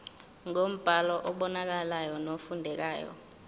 ngombhalo obonakalayo nofundekayo